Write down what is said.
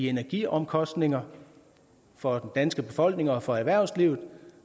energiomkostninger for den danske befolkning og for erhvervslivet